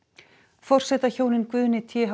forsetahjónin Guðni t h